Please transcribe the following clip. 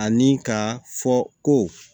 Ani ka fɔ ko